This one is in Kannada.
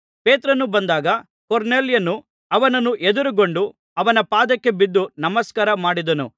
ಪೇತ್ರನು ಬಂದಾಗ ಕೊರ್ನೆಲ್ಯನು ಅವನನ್ನು ಎದುರುಗೊಂಡು ಅವನ ಪಾದಕ್ಕೆ ಬಿದ್ದು ನಮಸ್ಕಾರ ಮಾಡಿದನು